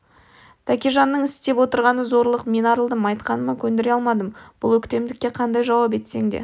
тәкежанның істеп отырғаны зорлық мен арылдым айтқаныма көндіре алмадым бұл өктемдікке қандай жауап етсең де